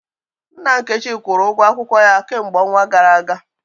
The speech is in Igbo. Nna Nkechi kwụrụ ụgwọ akwụkwọ ya kemgbe ọnwa gara aga